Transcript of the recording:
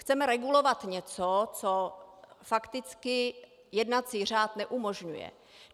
Chceme regulovat něco, co fakticky jednací řád neumožňuje.